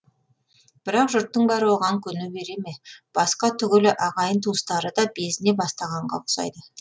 бірақ жұрттың бәрі оған көне бере ме басқа түгілі ағайын туыстары да безіне бастағанға ұқсайды